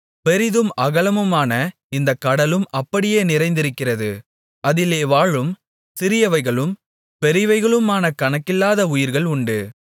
பெரிதும் அகலமுமான இந்த கடலும் அப்படியே நிறைந்திருக்கிறது அதிலே வாழும் சிறியவைகளும் பெரியவைகளுமான கணக்கில்லாத உயிர்கள் உண்டு